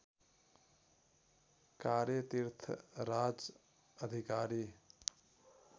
कार्य तीर्थराज अधिकारी